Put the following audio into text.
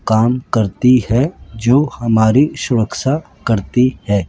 काम करती हैं जो हमारी सुरक्षा करती है।